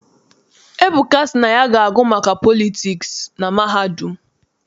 Ebuka sị na ya na-agụ maka politiks na mahadum.